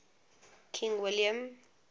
king william